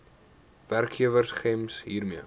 werkgewer gems hiermee